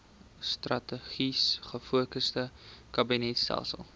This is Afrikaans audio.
strategies gefokusde kabinetstelsel